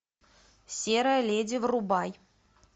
серая леди врубай